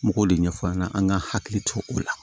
N b'o de ɲɛf'an ɲɛna an ŋa hakili to o la